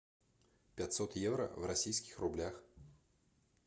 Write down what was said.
пятьсот евро в российских рублях